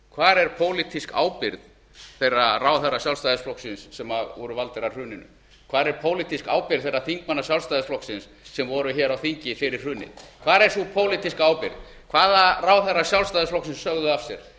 hvar er pólitísk ábyrgð þeirra ráðherra sjálfstæðisflokksins sem voru valdir að hruninu hvar er pólitísk ábyrgð þeirra þingmanna sjálfstæðisflokksins sem voru hér á þingi fyrir hrunið hvar er sú pólitíska ábyrgð hvaða ráðherrar sjálfstæðisflokksins sögðu af sér